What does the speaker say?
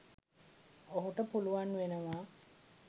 ඔහුට පුළුවන් වෙනවා